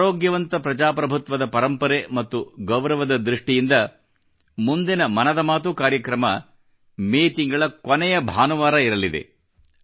ಆರೋಗ್ಯವಂತ ಪ್ರಜಾಪ್ರಭುತ್ವದ ಪರಂಪರೆ ಮತ್ತು ಗೌರವದ ದೃಷ್ಟಿಯಿಂದ ಮುಂದಿನ ಮನದ ಮಾತು ಕಾರ್ಯಕ್ರಮ ಮೇ ತಿಂಗಳ ಕೊನೆಯ ಭಾನುವಾರ ಇರಲಿದೆ